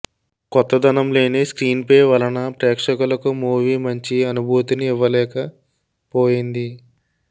కొత్తదనం లేని screenplay వలన ప్రేక్షకులకు మూవీ మంచి అనుభూతిని ఇవ్వలేక పోయింది